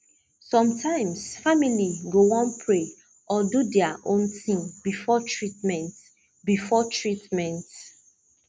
sometimes family go wan pray or do their own thing before treatment before treatment